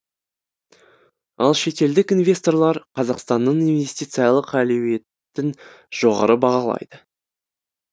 ал шетелдік инвесторлар қазақстанның инвестициялық әлеуетін жоғары бағалайды